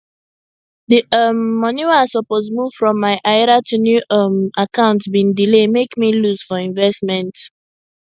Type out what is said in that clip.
di um money wey i suppose move from my ira to new um account bin delay mek me lose for investment